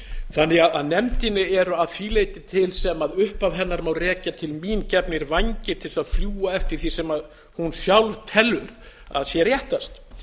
þannig að nefndinni eru að því leyti til sem upphaf hennar má rekja til mín gefnir vængir til þess að fljúga eftir því sem hún sjálf telur að sé réttast